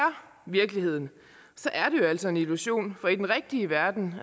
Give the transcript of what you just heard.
virkeligheden så er jo altså en illusion for i den rigtige verden